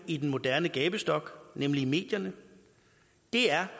i den moderne gabestok nemlig i medierne det er